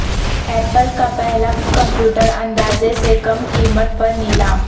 apple کا پہلا computer اندازے سے کم قیمت پر نیلام